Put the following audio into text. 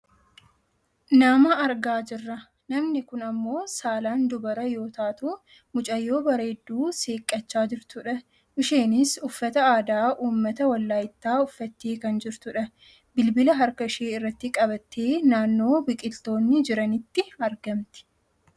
Nama argaa jirra. Namni kun ammoo saalaan dubara yoo taatu mucayyoo bareedduu seeqqachaa jirtudha. Isheenis uffata aadaa uummata walaayittaa uffattee kan jirtudha. Bilbila harka ishee irratti qabattee naannoo biqiltoonni jiranitti argamti.